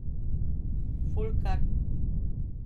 Folkart.